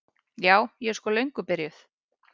Ja, ég er sko löngu byrjuð.